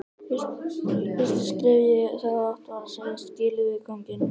Fyrsta skrefið í þá átt væri að segja skilið við kónginn.